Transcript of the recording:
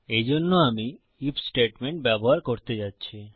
এই জন্য আমি আইএফ স্টেটমেন্ট ব্যবহার করতে যাচ্ছি